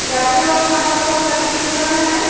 लड़के लोग यहां पर बहोत सारे जिम कर रहे है।